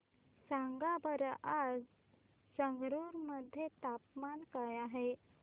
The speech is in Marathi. सांगा बरं आज संगरुर मध्ये तापमान काय आहे